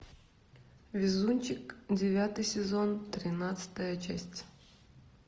везунчик девятый сезон тринадцатая часть